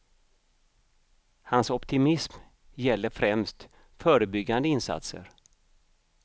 Hans optimism gäller främst förebyggande insatser.